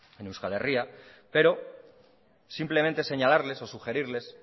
en euskal herria pero simplemente señalarles o sugerirles